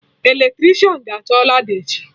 Eletricịan ga-achọ lada echi